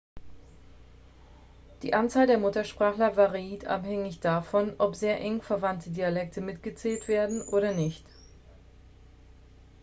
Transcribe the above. die anzahl der muttersprachler variiert abhängig davon ob sehr eng verwandte dialekte mitgezählt werden oder nicht